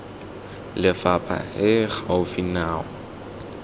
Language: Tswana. lefapha e e gaufi nao